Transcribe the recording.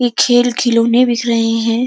ये खेल-खिलोने बिस रहे हैं।